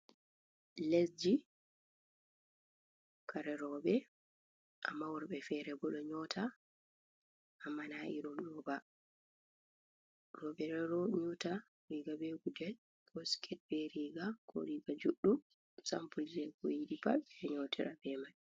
Les ji kare robe, amma worbe fere bo ɗo nyotta, amma na irim ɗoba. Robe ɗo nyota riga be gudel, ko siket be riga, ko riga juɗdum, sampul je ko yidi pat ɓe nyotira ɓe mai.